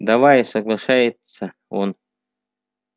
давай соглашается он